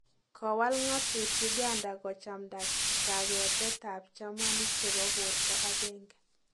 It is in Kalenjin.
Kowal ngatut Uganda kochmnda kaketet ab chemanik chebo porta agenge